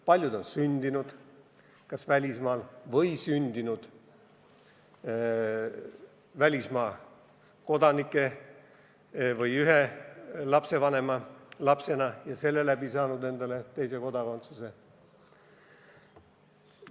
Paljud on sündinud välismaal või sündinud välismaa kodanike või ühe välismaa kodanikust lapsevanema lapsena ja selle läbi saanud endale teise kodakondsuse.